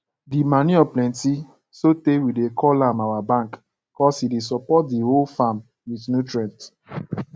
di manure plenty sotey we dey call am our bank cuz e dey support di whole farm with nutrients